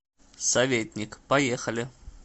советник поехали